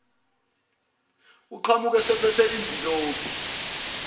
aqhamuke esephethe imvilophi